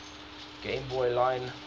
game boy line